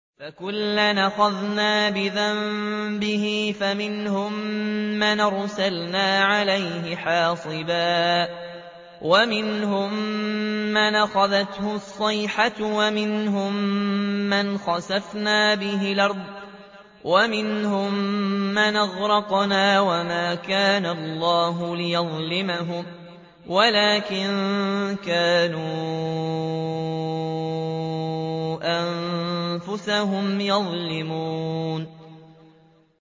فَكُلًّا أَخَذْنَا بِذَنبِهِ ۖ فَمِنْهُم مَّنْ أَرْسَلْنَا عَلَيْهِ حَاصِبًا وَمِنْهُم مَّنْ أَخَذَتْهُ الصَّيْحَةُ وَمِنْهُم مَّنْ خَسَفْنَا بِهِ الْأَرْضَ وَمِنْهُم مَّنْ أَغْرَقْنَا ۚ وَمَا كَانَ اللَّهُ لِيَظْلِمَهُمْ وَلَٰكِن كَانُوا أَنفُسَهُمْ يَظْلِمُونَ